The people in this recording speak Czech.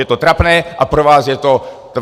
Je to trapné a pro vás je to...